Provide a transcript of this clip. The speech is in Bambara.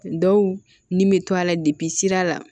Dɔw ni bɛ to a la sira la